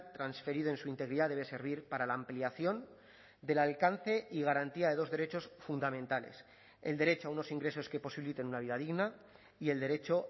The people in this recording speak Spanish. transferido en su integridad debe servir para la ampliación del alcance y garantía de dos derechos fundamentales el derecho a unos ingresos que posibiliten una vida digna y el derecho